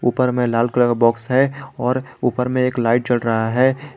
ऊपर में लाल कलर का बॉक्स है और ऊपर में लाइट जल रहा है।